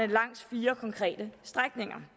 langs fire konkrete strækninger